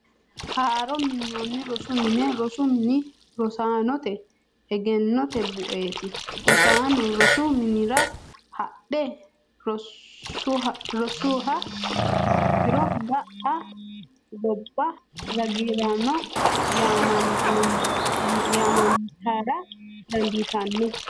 Haaro minoni rosu mine, rosu mini rosaanote eggenote bu'eeti, rosaano rosu minira hadhe rosuha ikkiro ga'a gobba ragiraano yaamantara danditano